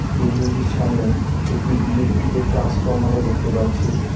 Building -টির সামনে একটি ইলেকট্রিক -এর ট্রান্সফরমার -ও দেখতে পাচ্ছি।